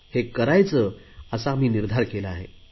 हे करायचे असा आम्ही निर्धार केला आहे